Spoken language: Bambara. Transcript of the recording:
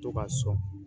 To ka sɔn